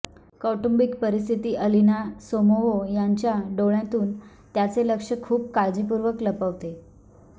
कौटुंबिक परिस्थिती Alina Somova यांच्या डोळ्यांतून त्याचे लक्ष खूप काळजीपूर्वक लपवते